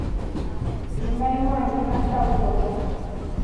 Nainua nkima sapuk oleng